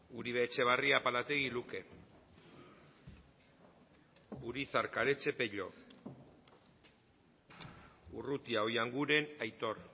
uribe etxebarria apalategi luke urizar karetxe pello urrutia oianguren aitor